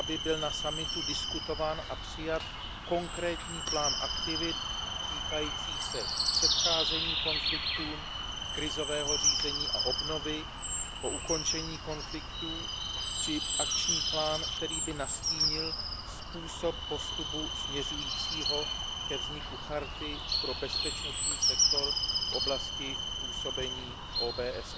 aby byl na summitu diskutován a přijat konkrétní plán aktivit týkajících se předcházení konfliktům, krizového řízení a obnovy po ukončení konfliktů či akční plán, který by nastínil způsob postupu směřujícího ke vzniku Charty pro bezpečnostní sektor v oblasti působení OBSE.